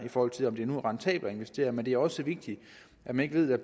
i forhold til om det nu er rentabelt at investere men det er også vigtigt at man ved at